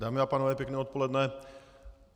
Dámy a pánové, pěkné odpoledne.